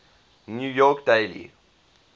new york daily